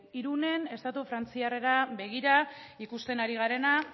irunen estatu frantziarrera begira ikusten ari garena